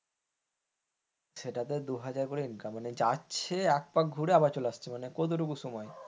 সেটা তে দু হাজার করে ইনকাম মানে যাচ্ছে এক পাক ঘুরে আবার চলে আসছে মানে কতটুকু সময়?